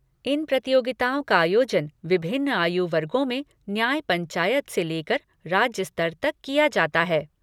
इन प्रतियोगिताओं का आयोजन विभिन्न आयु वर्गों में न्याय पंचायत से लेकर राज्य स्तर तक किया जाता है।